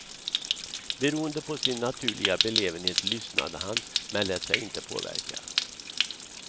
Beroende på sin naturliga belevenhet lyssnade han men lät sig inte påverkas.